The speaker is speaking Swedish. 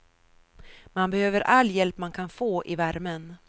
Man behöver all hjälp man kan få i värmen.